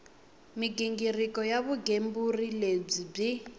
mighingiriko ya vugembuli lebyi byi